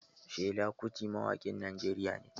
Fela kuti mawaƙin Najeriya ne.